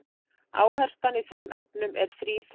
Áherslan í þeim efnum er þríþætt.